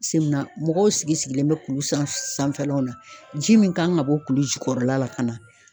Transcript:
mɔgɔw sigi sigilen bɛ kulu san sanfɛlaw lna, ji min kan ka bɔ kulu jukɔrɔla la ka na